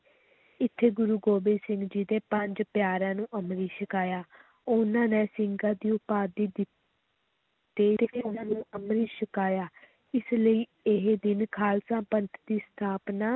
ਇੱਥੇ ਗੁਰੂ ਗੋਬਿੰਦ ਸਿੰਘ ਜੀ ਦੇ ਪੰਜ ਪਿਆਰਿਆਂ ਨੂੰ ਅੰਮ੍ਰਿਤ ਛਕਾਇਆ ਉਨ੍ਹਾਂ ਨੇ ਸਿੰਘਾਂ ਦੀ ਉਪਾਧੀ ਦਿੱ~ ਅੰਮ੍ਰਿਤ ਛਕਾਇਆ, ਇਸ ਲਈ ਇਹ ਦਿਨ ਖ਼ਾਲਸਾ ਪੰਥ ਦੀ ਸਥਾਪਨਾ